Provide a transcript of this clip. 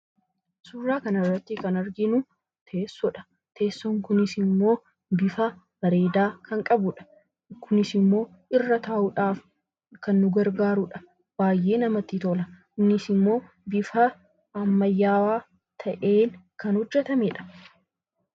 Suuraa kanarratti kan arginu teessoodha. Teessoon kunisimmoo bifa bareedaa kan qabudha. Kunisimmoo irra taa'uudhaaf kan nu gargaarudha. Baayyee namatti tola. innisimmoo bifa ammayyaawaa ta'een kan hojjatamedha.